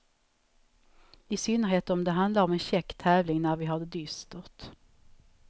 I synnerhet om det handlar om en käck tävling, när vi har det dystert.